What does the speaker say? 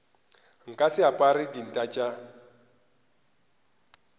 nka se apare dinta tša